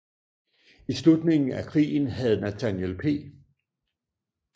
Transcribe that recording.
I slutningen af krigen havde Nathaniel P